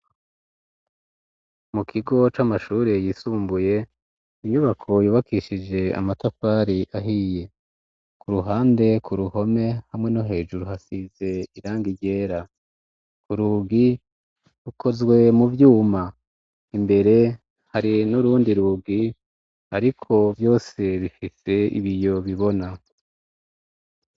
mu kigo c'amashuri yisumbuye inyubako yubakishije amatafari ahiye ku ruhande ku ruhome hamwe no hejuru hasize iranga igera ku rugi rukozwe mu vyuma imbere hari n'urundi rugi ariko byose bifise ibiyo bibona